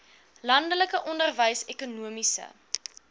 landelike onderwys ekonomiese